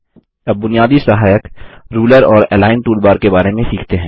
अब बुनियादी सहायक रूलर और अलिग्न टूलबार के बारे में सीखते हैं